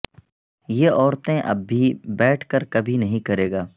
یہ عورتیں اب بھی بیٹھ کر کبھی نہیں کرے گا